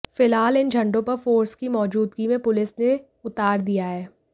फिलहाल इन झंडों पर फोर्स की मौजूदगी में पुलिस ने उतार दिया है